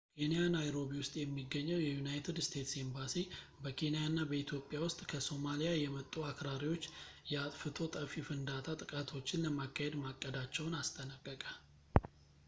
ኬንያ ናይሮቢ ውስጥ የሚገኘው የዩናይትድ ስቴትስ ኤምባሲ በኬንያ እና በኢትዮጵያ ውስጥ ከሶማሊያ የመጡ አክራሪዎች የአጥፍቶ ጠፊ ፍንዳታ ጥቃቶችን ለማካሄድ ማቀዳቸውን አስጠነቀቀ